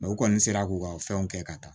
u kɔni sera k'u ka fɛnw kɛ ka taa